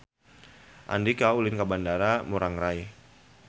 Andika ulin ka Bandara Ngurai Rai